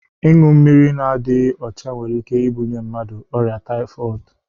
Ịñyu mmiri na dighi ọcha nwere ike ibunye mmadụ ọria Taifọọd.